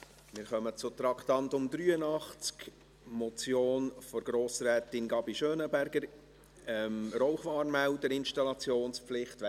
Wir kommen zu Traktandum 83, der Motion von Grossrätin Gabi Schönenberger zur Rauchwarnmelder-Installationspflicht .